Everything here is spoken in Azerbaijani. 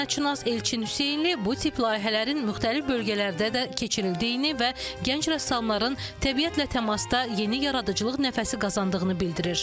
Sənətşünas Elçin Hüseynli bu tip layihələrin müxtəlif bölgələrdə də keçirildiyini və gənc rəssamların təbiətlə təmasda yeni yaradıcılıq nəfəsi qazandığını bildirir.